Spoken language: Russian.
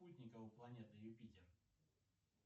спутников у планеты юпитер